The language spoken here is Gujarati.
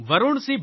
વરૂણ સી